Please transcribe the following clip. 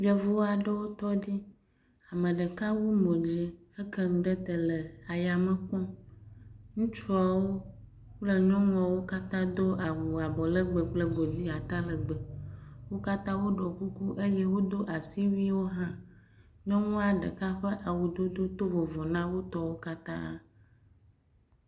yevuaɖewo tɔ ɖi ameɖeka wu mò dzi he keŋu ɖe te le ayame kpɔm ŋutsuawo kple nyɔŋuawo wókatã wodó awu abɔ legbe kple godi ata legbe wókatã woɖó kuku eye wodó asiwuiwo hã nyɔnua ɖeka ƒe awudodo tó vovo na wótɔwo katã